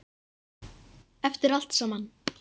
Eftir allt saman.